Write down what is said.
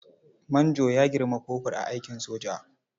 Manjo ya girmi kofur a aikin soja.